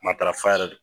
Matarafa yɛrɛ